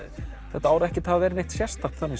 þetta ár ekkert hafa verið sérstakt þannig